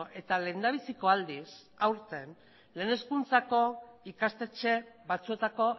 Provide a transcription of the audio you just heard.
eta lehendabiziko aldiz aurten lehen hezkuntzako ikastetxe batzuetako